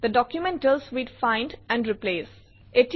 the document deals with find and replace